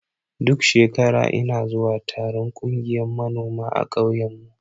Duk shekara ina zuwa taron ƙungiyan manoma a ƙauyen mu.